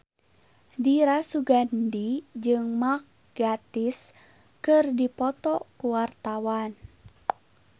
Dira Sugandi jeung Mark Gatiss keur dipoto ku wartawan